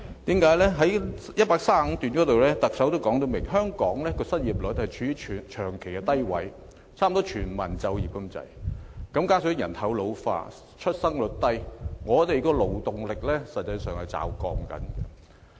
特首在此段清楚指出，香港的失業率長期處於低位，差不多是全民就業，加上人口老化、出生率低，實際上本港的勞動力是正在驟降。